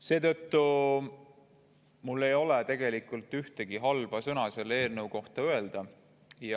Seetõttu ei ole mul ühtegi halba sõna selle eelnõu kohta öelda.